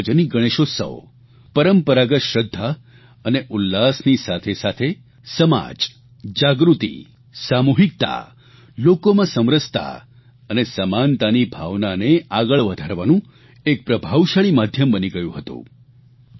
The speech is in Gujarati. સાર્વજનિક ગણેશ ઉત્સવ પરંપરાગત શ્રદ્ધા અને ઉલ્લાસની સાથેસાથે સમાજ જાગૃતિ સામૂહિકતા લોકોમાં સમરસતા અને સમાનતાની ભાવનાને આગળ વધારવાનું એક પ્રભાવશાળી માધ્યમ બની ગયું હતું